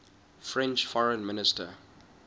french foreign minister